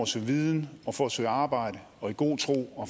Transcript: søge viden og for at søge arbejde i god tro og